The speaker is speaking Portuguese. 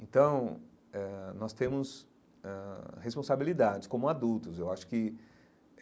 Então, eh nós temos ãh responsabilidades como adultos eu acho que.